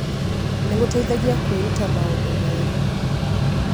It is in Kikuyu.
Nĩ gũgũteithagia kwĩruta maũndũ merũ.